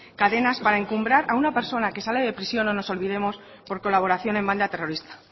cadenas para encumbrar a una persona que sale de prisión no nos olvidemos por colaboración en banda terrorista